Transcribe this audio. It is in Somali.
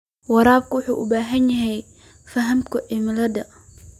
Waraabka wuxuu u baahan yahay fahamka cimilada.